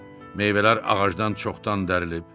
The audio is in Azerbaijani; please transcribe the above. Meyvələr ağacdan çoxdan dərilib.